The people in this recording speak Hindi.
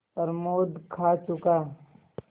प्रमोद खा चुका